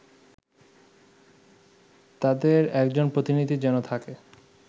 তাদের একজন প্রতিনিধি যেন থাকে